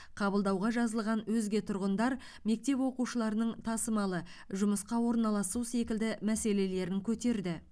қабылдауға жазылған өзге тұрғындар мектеп оқушыларының тасымалы жұмысқа орналасу секілді мәселелерін көтерді